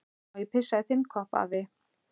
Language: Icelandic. Má ég pissa í þinn kopp, afi?